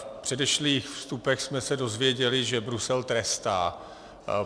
V předešlých vstupech jsme se dozvěděli, že Brusel trestá.